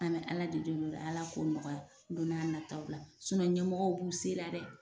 An be ala de deli ala k'o nɔgɔya don na nataw la sinɔ ɲɛmɔgɔw b'u se la dɛ